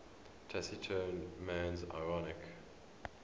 taciturn man's ironic